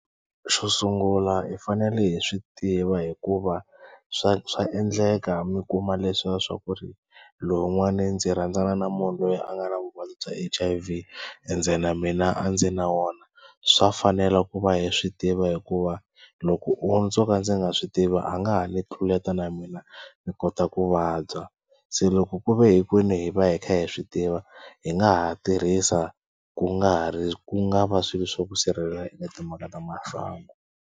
Xo sungula hi fanele hi swi tiva hikuva swa swa endleka mi kuma leswa swa ku ri lowun'wani ndzi rhandzana na munhu loyi a nga na vuvabyi bya H_I_V ende na mina a ndzi na wona. Swa fanela ku va hi swi tiva hikuva loko o ndzo ka ndzi nga swi tiva a nga ha ni tluleta na mina ni kota ku vabya. Se loko ku ve hinkwenu hi va hi kha hi swi tiva hi nga ha tirhisa ku nga ha ri ku nga va swilo swo ku sirhelela eka timhaka ta masangu.